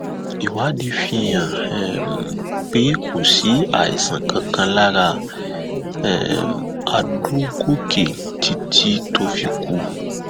ìwádìí fihàn um pé kò sí àìsàn kankan lára um àdògòkè títí tó fi kú